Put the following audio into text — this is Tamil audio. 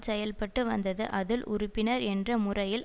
செயல்பட்டு வந்தது அதில் உறுப்பினர் என்ற முறையில்